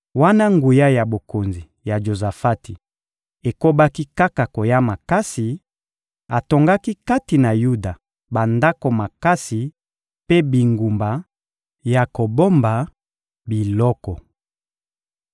Wana nguya ya bokonzi ya Jozafati ekobaki kaka koya makasi, atongaki kati na Yuda bandako makasi mpe bingumba ya kobomba biloko.